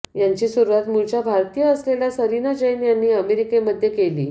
याची सुरुवात मूळच्या भारतीय असलेल्या सरीना जैन यांनी अमेरिकेमध्ये केली